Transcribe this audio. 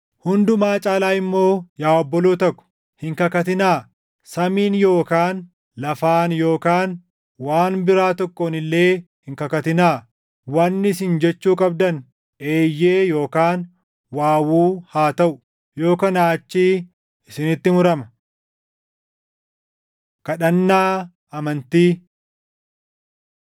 Hundumaa caalaa immoo yaa obboloota ko, hin kakatinaa; samiin yookaan lafaan yookaan waan biraa tokkoon illee hin kakatinaa. Wanni isin jechuu qabdan, “Eeyyee” yookaan “waawuu” haa taʼu. Yoo kanaa achii isinitti murama. Kadhannaa Amantii